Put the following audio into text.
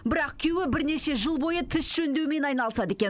бірақ күйеуі бірнеше жыл бойы тіс жөндеумен айналысады екен